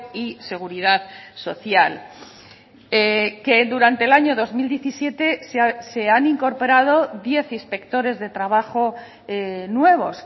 y seguridad social que durante el año dos mil diecisiete se han incorporado diez inspectores de trabajo nuevos